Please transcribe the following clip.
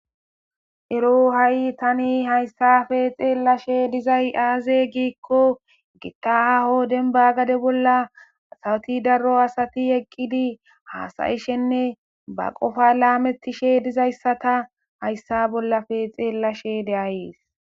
ero ha7i tani hayssafe xeellashe dizay aaze giikko gita aho denba gade bolla sawoti darro asati eqqidi haasayishenne ba qofa laametishe dizayssata hayssa bollafe xeellashe deayees